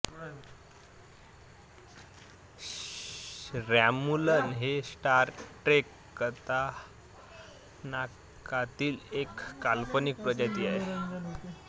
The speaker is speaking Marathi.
रॉम्यूलन हे स्टार ट्रेक कथानाकातील एक काल्पनिक प्रजाती आहे